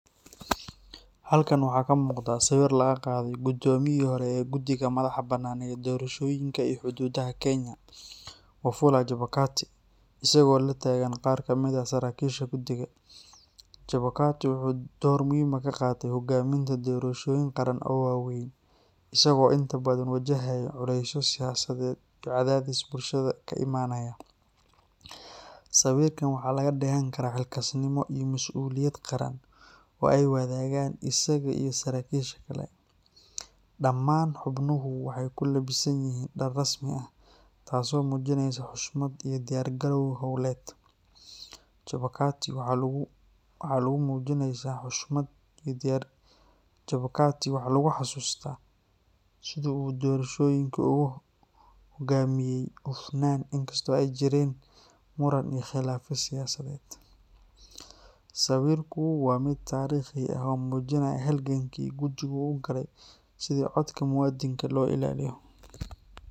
Halkan waxaa ka muuqda sawir laga qaaday guddoomiyihii hore ee guddiga madaxa bannaan ee doorashooyinka iyo xuduudaha Kenya , Wafula Chebukati, isagoo la taagan qaar ka mid ah saraakiisha guddiga. Chebukati wuxuu door muhiim ah ka qaatay hogaaminta doorashooyin qaran oo waaweyn, isagoo inta badan wajahaya culaysyo siyaasadeed iyo cadaadis bulshada ka imaanaya. Sawirkan waxaa laga dheehan karaa xilkasnimo iyo mas’uuliyad qaran oo ay wadaagaan isaga iyo saraakiisha kale. Dhammaan xubnuhu waxay ku labisan yihiin dhar rasmi ah, taasoo muujinaysa xushmad iyo diyaar garow hawleed. Chebukati waxaa lagu xasuustaa sidii uu doorashooyinka ugu hoggaamiyay hufnaan inkastoo ay jireen muran iyo khilaafyo siyaasadeed. Sawirku waa mid taariikhi ah oo muujinaya halgankii guddigu u galay sidii codka muwaadinka loo ilaaliyo.